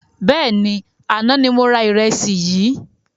Bẹ́ẹ̀ni, àná ni mo ra ìrẹsì yìí